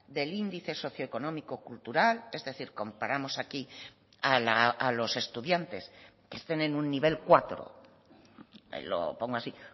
del índice socioeconómico cultural es decir comparamos aquí a los estudiantes que estén en un nivel cuatro lo pongo así